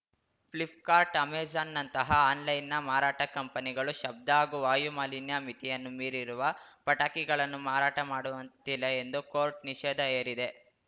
ಫ್ಲಿಪ್‌ಕಾರ್ಟ್‌ ಅಮೆಜಾನ್‌ನಂತಹ ಆನ್‌ಲೈನ್‌ನ ಮಾರಾಟ ಕಂಪನಿಗಳು ಶಬ್ದ ಹಾಗೂ ವಾಯುಮಾಲಿನ್ಯ ಮಿತಿಯನ್ನು ಮೀರಿರುವ ಪಟಾಕಿಗಳನ್ನು ಮಾರಾಟ ಮಾಡುವಂತಿಲ್ಲ ಎಂದು ಕೋರ್ಟು ನಿಷೇಧ ಹೇರಿದೆ